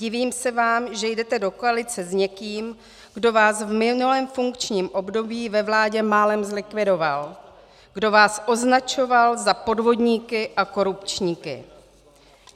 Divím se vám, že jdete do koalice s někým, kdo vás v minulého funkčním období ve vládě málem zlikvidoval, kdo vás označoval za podvodníky a korupčníky.